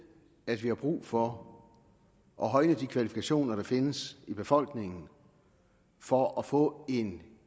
at vi har brug for at højne de kvalifikationer der findes i befolkningen for at få en